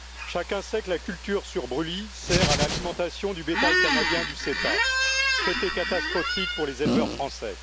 Chacun sait que la culture sur brûlis sert à l'alimentation du bétail canadien du CETA, traité catastrophique pour les éleveurs français.